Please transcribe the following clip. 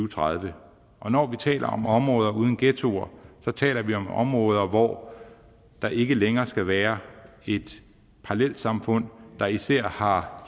og tredive og når vi taler om områder uden ghettoer taler vi om områder hvor der ikke længere skal være et parallelsamfund der især har